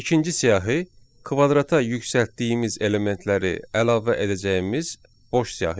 İkinci siyahı kvadrata yüksəltdiyimiz elementləri əlavə edəcəyimiz boş siyahıdır.